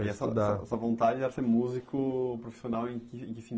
E essa essa a sua vontade era ser músico profissional em que que